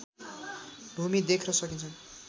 भूमि देख्न सकिन्छ